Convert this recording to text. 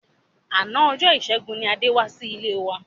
Àná ọjọ́ ìṣẹ́gun ni Adé wá sí ilé wa.